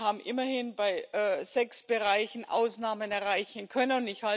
Wir haben immerhin bei sechs Bereichen Ausnahmen erreichen können.